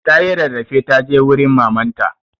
Ta yi rarrafe ta je wurin maman ta.